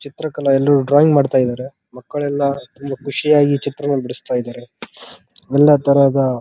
ಚಿತ್ರಕಲಾ ಎಲ್ಲರೂ ಡ್ರಾಯಿಂಗ್ ಮಾಡ್ತಾ ಇದ್ದಾರೆ ಮಕ್ಕಳೆಲ್ಲ ತುಂಬಾ ಖುಷಿಯಾಗಿ ಚಿತ್ರವನ್ನು ಬಿಡಿಸ್ತಾ ಇದ್ದಾರೆ ಎಲ್ಲ ತರಹದ --